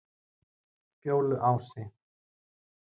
Fjóluási